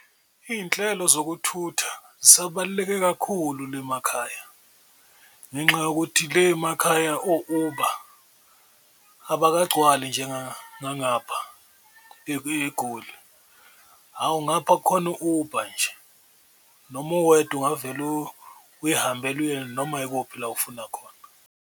Iyinhlelo zokuthutha zisabaluleke kakhulu le emakhaya ngenxa yokuthi le emakhaya o-Uber abakagcwali eGoli, hhawu ngapha kukhona u-Uber nje noma uwedwa ungavele uyihambele uye noma yikuphi la ofuna khona.